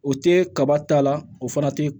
O tɛ kaba ta la o fana tɛ